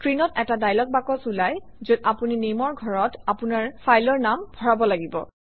স্ক্ৰীনত এটা dialogue box ওলায় যত আপুনি Name অৰ ঘৰত আপোনাৰ ফাইলৰ নাম ভৰাব লাগে